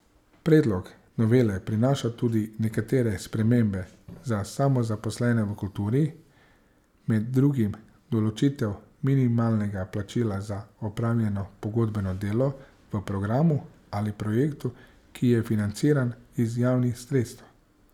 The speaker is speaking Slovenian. Predlog novele prinaša tudi nekatere spremembe za samozaposlene v kulturi, med drugim določitev minimalnega plačila za opravljeno pogodbeno delo v programu ali projektu, ki je financiran iz javnih sredstev.